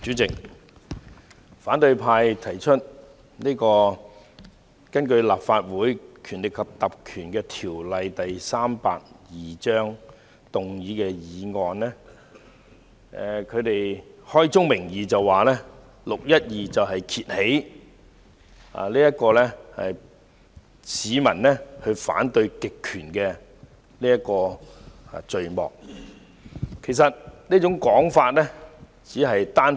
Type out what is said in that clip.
主席，反對派根據《立法會條例》動議的議案，開宗明義指"六一二"事件揭開市民反對極權的序幕，其實這是片面的說法。